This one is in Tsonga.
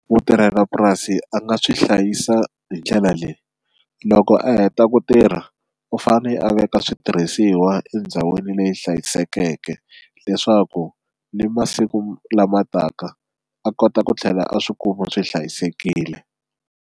Mutirhelapurasi a nga swi hlayisa hi ndlela leyi loko a heta ku tirha u fane a veka switirhisiwa endhawini leyi hlayisekeke leswaku ni masiku lama taka a kota ku tlhela a swi kuma swi hlayisekile.